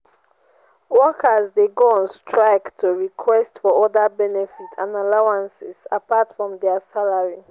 workers de go on strike to request for other benefits and allowances apart from their salary